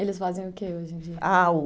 Eles fazem o que hoje em dia?